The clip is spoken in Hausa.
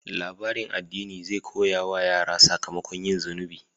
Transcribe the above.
Labarin addini zai koya wa yara sakamakon yin zunubi.